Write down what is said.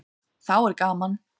Þá er gaman.